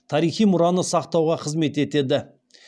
тарихи мұраны сақтауға қызмет етеді